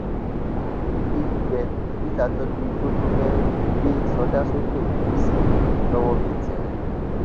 àárín èdè gbígbẹ ni peter tọjú igbó tó fẹẹ gbé sọdá sókè òkun sí towó fi tẹ ẹ